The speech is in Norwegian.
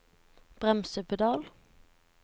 bremsepedal